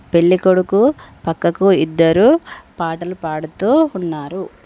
పెళ్ళికొడుకు పక్కకు ఇద్దరు పాటలు పడుతూ ఉన్నారు.